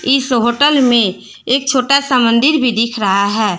इस होटल में एक छोटा सा मंदिर भी दिख रहा है।